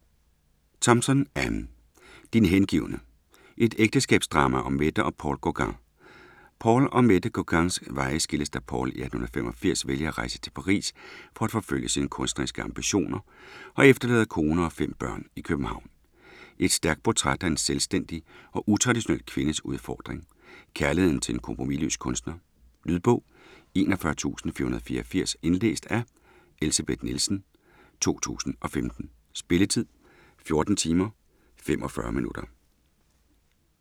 Thompson, Anne: Din hengivne: et ægteskabsdrama om Mette og Paul Gauguin Paul og Mette Gauguins veje skilles da Paul i 1885 vælger at rejse til Paris for at forfølge sine kunstneriske ambitioner og efterlader kone og fem børn i København. Et stærkt portræt af en selvstændig og utraditionel kvindes udfordring; kærligheden til en kompromisløs kunstner. Lydbog 41484 Indlæst af Elsebeth Nielsen, 2015. Spilletid: 14 timer, 45 minutter.